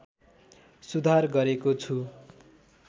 सुधार गरेको छु